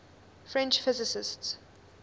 french physicists